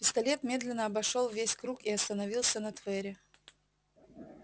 пистолет медленно обошёл весь круг и остановился на твере